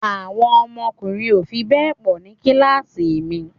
Àwọn ọkùnrin ò fi bẹ́ẹ̀ pọ̀ ní kíláàsì mi